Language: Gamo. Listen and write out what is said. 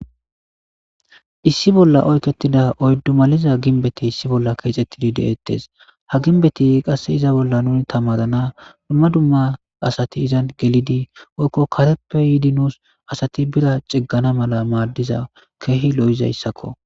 Issi bolla oyketida oyddumaliza ginbeti issi bolla keexettidi de'ettes ha ginbeti qasse iza bolla nun tamadana dumma dumma asati izan gelidi woykko kareppe yiidi nuus asati bira ciggana mala maaddiza keehi lo'izaysako